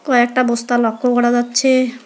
কয়েকটা বস্তা লক্ষ্য করা যাচ্ছে।